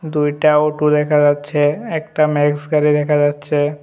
দুইটা অটো দেখা যাচ্ছে একটা ম্যাক্স গাড়ি দেখা যাচ্ছে।